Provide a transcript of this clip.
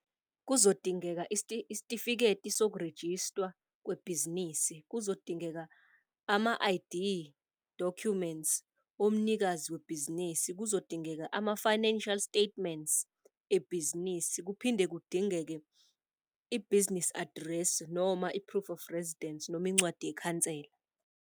Kuzodingeka isitifiketi sokurejistwa kwebhizinisi, kuzodingeka ama-I_D documents omnikazi webhizinisi, kuzodingeka ama-financial statements ebhizinisi, kuphinde kudingeke i-business address, noma i-proof of residence, noma incwadi yekhansela.